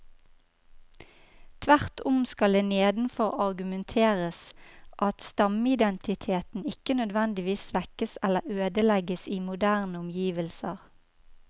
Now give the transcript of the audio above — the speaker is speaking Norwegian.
Tvert om skal det nedenfor argumenteres at stammeidentiteten ikke nødvendigvis svekkes eller ødelegges i moderne omgivelser.